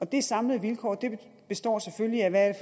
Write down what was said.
de samlede vilkår består selvfølgelig af